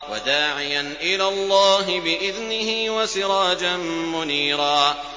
وَدَاعِيًا إِلَى اللَّهِ بِإِذْنِهِ وَسِرَاجًا مُّنِيرًا